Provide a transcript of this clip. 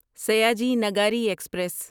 Sayaji Nagari express